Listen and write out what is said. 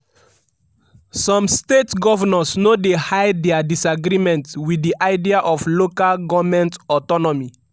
some state govnors no dey hide dia disagreement wit di idea of local goment autonomy.